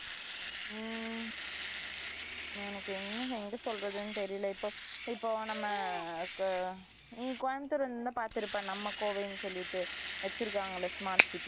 Silent ம் Silent எனக்கு என்ன எங்க சொல்றதுன்னு தெரியல இப்ப இப்ப நம்ம நீ கோயம்புத்தூர் வந்து இருந்தா பாத்துருப்ப நம்ம கோவைனு சொல்லிட்டு வச்சிருக்காங்க smart city